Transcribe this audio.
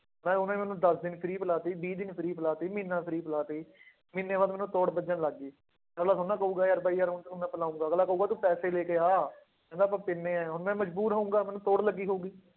ਮੈਂ ਉਹਨੇ ਮੈਨੂੰ ਦਸ ਦਿਨ free ਪਿਲਾ ਦਿੱਤੀ ਵੀਹ ਦਿਨ free ਪਿਲਾ ਦਿੱਤੀ, ਮਹੀਨਾ free ਪਿਲਾ ਦਿੱਤੀ ਮਹੀਨੇ ਬਾਅਦ ਮੈਨੂੰ ਤੋੜ ਲੱਗਣ ਲੱਗ ਗਈ, ਅਗਲਾ ਥੋੜ੍ਹਾ ਨਾ ਕਹੇਗਾ ਯਾਰ ਬਾਈ ਯਾਰ ਹੁਣ ਤੈਨੂੰ ਮੈਂ ਪਿਲਾਵਾਂਗਾ, ਅਗਲਾ ਕਹੇਗਾ ਤੂੰ ਪੈਸੇ ਲੈ ਕੇ ਆ, ਕਹਿੰਦਾ ਆਪਾਂ ਪੀਂਦੇ ਹਾਂ ਹੁਣ ਮੈਂ ਮਜ਼ਬੂਰ ਹੋਊਂਗਾ ਮੈਨੂੰ ਤੋੜ ਲੱਗੀ ਹੋਊਗੀ।